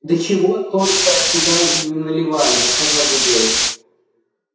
да чего только туда не наливали сказал игорь